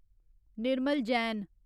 Nirmal Jain